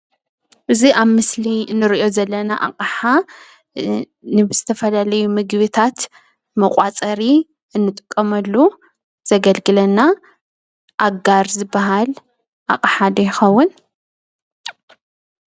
እዚ ኣብ ምስሊ ንሪኦ ዘለና ኣቕሓ ንዝተፈላለዩ ምግብታት መቋፀሪ እንጥቀመሉ ዘገልግለና ኣጋር ዝበሃል ኣቕሓ ዶ ይኸውን?